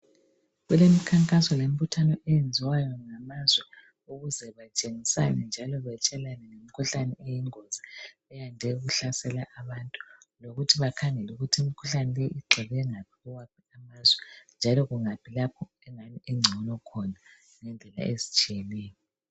Kulemikhankaso lembuthano eyenziwayo ngamazwe ukuze batshengisane njalo batshelane ngemikhuhlane eyingozi eyande ukuhlasela abantu. Lokuthi bakhangele ukuthi imikhuhlane leyi igxile ngaphi kuwaphi amazwe njalo kungaphi lapho engcono khona ngendlela ezitshiyeneyo.